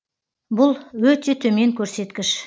бұл өте төмен көрсеткіш